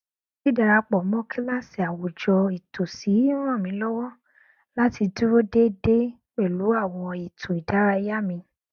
dídarapọ mọ kíláàsì àwùjọ ìtòsí n ràn mí lọwọ láti dúró dédé pẹlú àwọn ètò ìdárayá mi